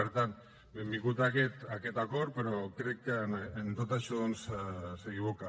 per tant benvingut aquest acord però crec que en tot això doncs s’equivoca